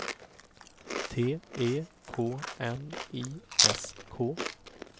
T E K N I S K